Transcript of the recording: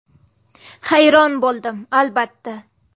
Hayron bo‘ldim, albatta.